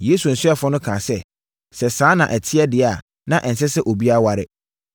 Yesu asuafoɔ no kaa sɛ, “Sɛ saa na ɛte deɛ a, na ɛnsɛ sɛ obiara ware.”